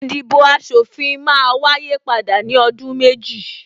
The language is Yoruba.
Ìdìbò aṣòfin máa wáyé padà ní ọdún méjì